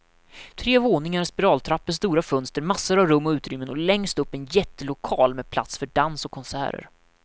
Tre våningar, spiraltrappor, stora fönster, massor av rum och utrymmen och längst upp en jättelokal med plats för dans och konserter.